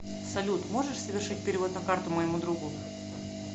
салют можешь совершить перевод на карту моему другу